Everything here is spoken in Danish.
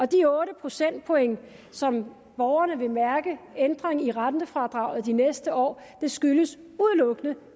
de otte procentpoint som borgerne vil mærke ændring i rentefradraget de næste år skyldes udelukkende